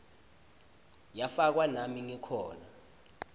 yafakwa nami ngikhona